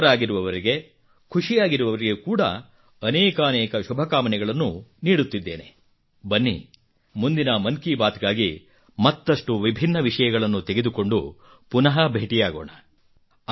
ನಿರತರಾಗಿರುವವರಿಗೆ ಖುಷಿಯಾಗಿರುವವರಿಗೆ ಕೂಡಾ ಅನೇಕಾನೇಕ ಶುಭಕಾಮನೆಗಳನ್ನು ನೀಡುತ್ತಿದ್ದೇನೆ ಬನ್ನಿ ಮುಂದಿನ ಮನ್ ಕಿ ಬಾತ್ ಗಾಗಿ ಅನೇಕಾನೇಕ ವಿಷಯಗಳನ್ನು ತೆಗೆದುಕೊಂಡು ಪುನಃ ಭೇಟಿಯಾಗೋಣ